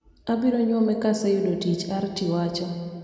"abiro nyuome ka aseyuodo tich," Arti wacho.